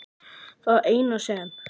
Það eina sem